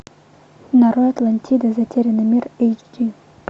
нарой атлантида затерянный мир эйч ди